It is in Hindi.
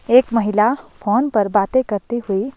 एक महिला फोन पर बातें करती हुई--